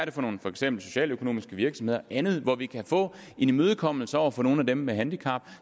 er for nogle for eksempel socialøkonomiske virksomheder og andet hvor vi kan få en imødekommelse over for nogle af dem med et handicap